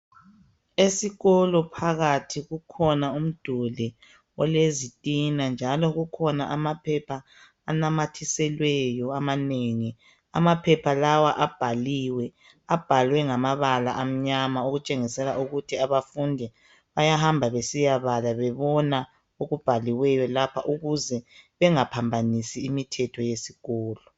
Esikolo phakathi kukhona umduli olezitina njalo kukhona amaphepha anamathiselweyo amanengi. Amaphepha lawa abhaliwe. Abhalwe ngamabala amnyama okutshengisela ukuthi abafundi bayahamba besiyabala bebona okubhaliweyo lapha ukuze bengaphambanisi imithetho yesikolo.